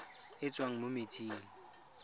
e e tswang mo metsing